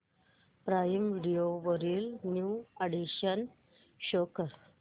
prime video वरील new additions show कर